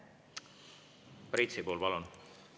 Priit Sibul, palun!